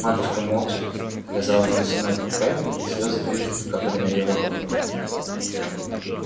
матушка молча вязала шерстяную фуфайку и слёзы изредка капали на её работу